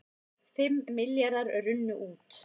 Fimm milljarðar runnu út